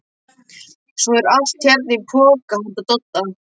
Svo er allt hérna í poka handa Dodda.